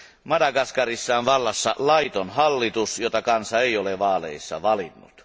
Madagaskarissa on vallassa laiton hallitus, jota kansa ei ole vaaleissa valinnut.